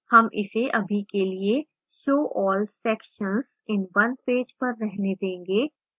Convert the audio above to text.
हम इसे अभी के लिए show all sections in one page पर रहने देंगें